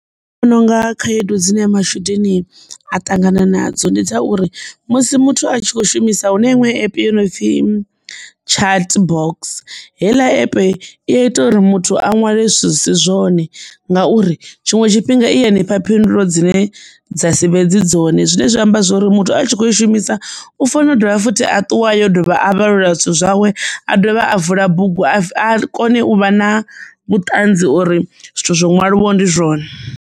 Nṋe ndi vhona unga khaedu dzine matshudeni a ṱangana nadzo ndi dza uri musi muthu a tshi kho shumisa hune iṅwe yo no pfi chat box heiḽa epe i ya ita uri muthu a nwale zwithu zwi si zwone ngauri tshiṅwe tshifhinga i nifha phindulo dzine dza sivhe fhedzi dzone, zwine zwa amba zwori muthu a tshi kho i shumisa u fanela u dovha futhi a ṱuwa yo dovha a vhalula zwithu zwawe a dovha a vula bugu a kone u vha na vhuṱanzi uri zwithu zwo ṅwaliwa ndi zwone.